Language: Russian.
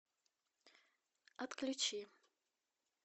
отключи